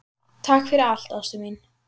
Takk fyrir allt, ástin mín.